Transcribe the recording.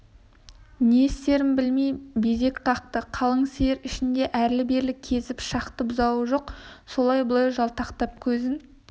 не істерін білмей безек қақты қалың сиыр ішін әрлі-бері кезіп шықты бұзауы жоқ олай-бұлай жалтақтап көзін